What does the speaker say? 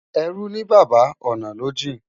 Ẹrú ní baba, ọ̀nà ló jìn.